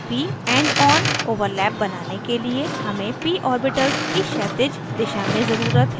pp endon overlap बनाने के लिए हमें p ऑर्बिटल्स की क्षैतिज दिशा में ज़रुरत है